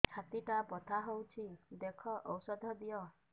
ଛାତି ଟା ବଥା ହଉଚି ଦେଖ ଔଷଧ ଦିଅ